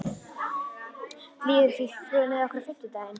Lýður, ferð þú með okkur á fimmtudaginn?